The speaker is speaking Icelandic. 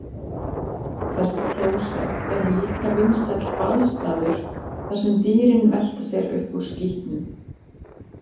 Þessi klósett eru líka vinsæll baðstaður þar sem dýrin velta sér upp úr skítnum.